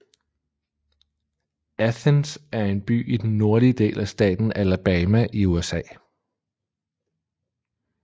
Athens er en by i den nordlige del af staten Alabama i USA